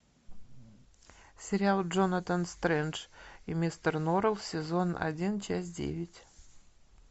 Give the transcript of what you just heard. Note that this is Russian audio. сериал джонатан стрендж и мистер норрелл сезон один часть девять